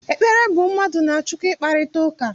Ekpere bụ mmadụ na Chukwu ịkparịta ụka.